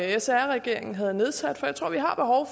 sr regeringen havde nedsat for jeg tror at vi har behov